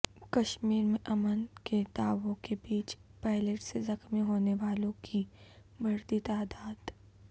کشمیر میں امن کے دعووں کے بیچ پیلیٹ سے زخمی ہونے والوں کی بڑھتی تعداد